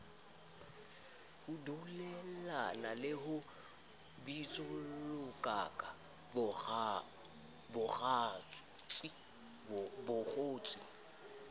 dulellana le ho bitsollakaka bakgotsi